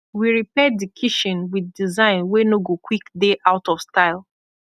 wi repair di kitshin wit design wey nor go kwik dey out of style